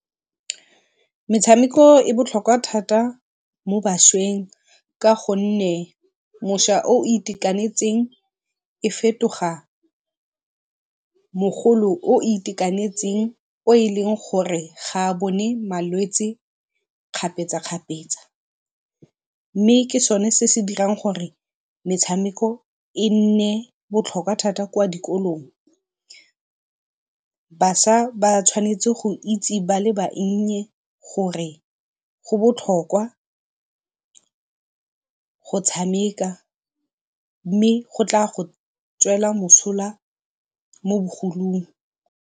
Metshameko e botlhokwa thata mo bašweng ka gonne mošwa o itekanetseng e fetoga mogolo o itekanetseng o e leng gore ga a bone malwetsi kgapetsa-kgapetsa. Mme ke sone se se dirang gore metshameko e nne botlhokwa thata kwa dikolong. Bašwa ba tshwanetse go itse ba le bannye gore go botlhokwa go tshameka mme go tla go tswela mosola mo bogolong.